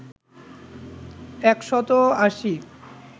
একশত আশী